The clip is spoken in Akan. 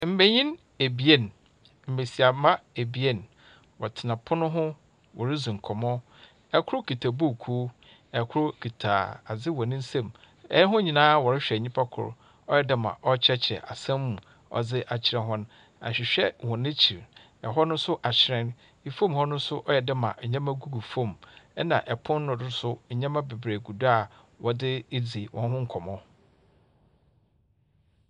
Mmenyin ebien, mmesiamma ebien, wɔtena pono ho woridzi nkɔmɔ. Ɛkor kita bukuu, ekor kita ade wɔ nensɛm. Ɛwɔn nyinaa wɔrehwɛ nipa kor. Ɔyɛ dɛɛ ɔkyerɛkyerɛ asɛm mo ɔdi akyerɛ wɔn. Ahwihwɛ wɔ wɔn ekyi, ɛhɔ no so ahyirɛn. Fom hɔ no so ɔyɛdɛɛ ma nnɛma gugu fom ɛna ɛpono no do nso nneɛma bebree gu do a wɔdi eedi wɔn ho nkɔmɔ.